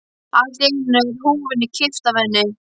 Allt í einu er húfunni kippt af henni!